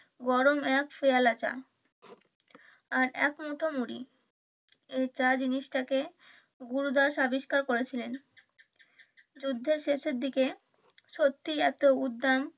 গরম এক পেয়ালা চা আর এক মুঠো মুড়ি এই চা জিনিস টাকে গুরুদাস আবিষ্কার করেছিলেন যুদ্ধের শেষের দিকে সত্যিই একটা উদ্যাম